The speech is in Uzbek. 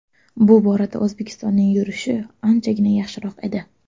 Bu borada O‘zbekistonning yurishi anchagina yaxshiroq edi.